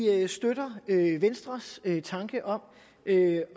støtter venstres tanke om